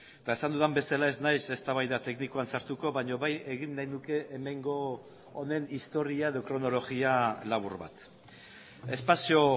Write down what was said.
eta esan dudan bezala ez naiz eztabaida teknikoan sartuko baina bai egin nahi nuke hemengo honen historia edo kronologia labur bat espazio